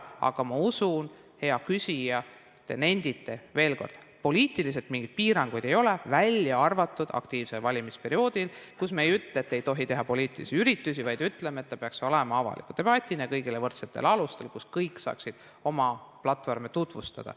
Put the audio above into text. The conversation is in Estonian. Aga ma usun, hea küsija, et te nendite, veel kord, et poliitiliselt mingeid piiranguid ei ole, välja arvatud aktiivsel valimisperioodil, kui me ei ütle, et ei tohi teha poliitilisi üritusi, vaid ütleme, et see peaks olema avaliku debatina kõigile võrdsetel alustel, kus kõik saaksid oma platvorme tutvustada.